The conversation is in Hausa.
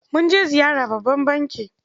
Mun je ziyara babban banki.